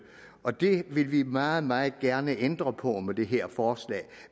og det vil vi meget meget gerne ændre på med det her forslag